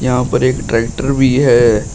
यहां पर एक ट्रैक्टर भी है।